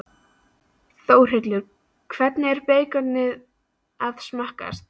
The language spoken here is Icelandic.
Þórhildur: Hvernig er beikonið að smakkast?